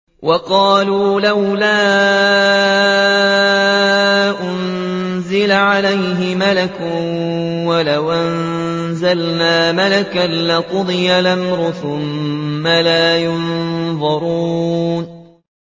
وَقَالُوا لَوْلَا أُنزِلَ عَلَيْهِ مَلَكٌ ۖ وَلَوْ أَنزَلْنَا مَلَكًا لَّقُضِيَ الْأَمْرُ ثُمَّ لَا يُنظَرُونَ